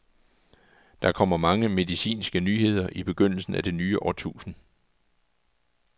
Der kommer mange medicinske nyheder i begyndelsen af det nye årtusinde.